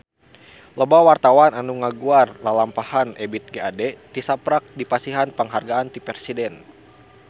Loba wartawan anu ngaguar lalampahan Ebith G. Ade tisaprak dipasihan panghargaan ti Presiden